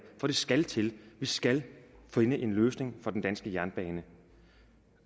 for det skal til vi skal finde en løsning for den danske jernbane